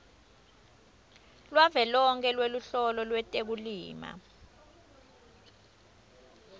lwavelonkhe lweluhlolo lwetekulima